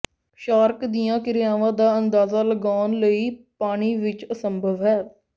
shark ਦੀਆਂ ਕਿਰਿਆਵਾਂ ਦਾ ਅੰਦਾਜ਼ਾ ਲਗਾਉਣ ਲਈ ਪਾਣੀ ਵਿੱਚ ਅਸੰਭਵ ਹੈ